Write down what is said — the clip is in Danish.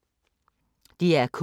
DR K